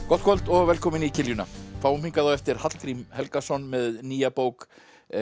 gott kvöld og velkomin í kiljuna fáum hingað á eftir Hallgrím Helgason með nýja bók